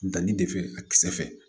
Danni de fɛ a kisɛ fɛ